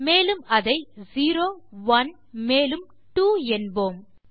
மேலும் அதை zero one மேலும் ட்வோ என்போம்